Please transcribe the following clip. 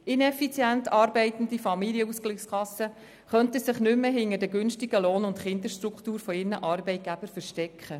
Ineffizient arbeitende Familienkassen könnten sich nicht mehr hinter den günstigen Lohn- und Kinderstrukturen ihrer Arbeitgeber verstecken.